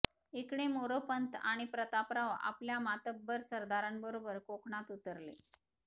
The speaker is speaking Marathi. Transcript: इकडे मोरोपंत आणि प्रतापराव आपल्या मातब्बर सारदारांबरोबर कोकणात उतरले